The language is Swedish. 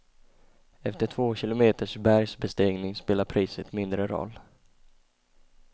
Efter två kilometers bergsbestigning spelar priset mindre roll.